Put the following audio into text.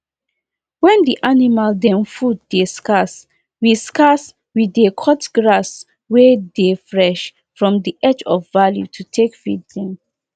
we no dey allow animal to over chop we dey reduce how long animal go stay for the general field every day.